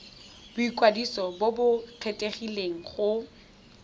boikwadiso jo bo kgethegileng go